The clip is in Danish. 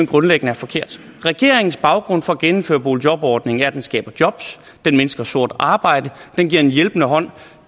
grundlæggende er forkert regeringens baggrund for at genindføre boligjobordningen er at den skaber jobs den mindsker sort arbejde den giver en hjælpende hånd